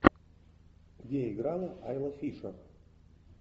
где играла айла фишер